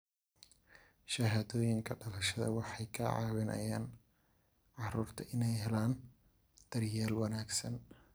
Shahaadooyinka dhalashada waxay ka caawiyaan carruurta inay helaan daryeel wanaagsan.